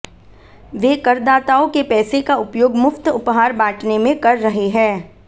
वे करदाताओं के पैसे का उपयोग मुफ्त उपहार बांटने में कर रहे हैं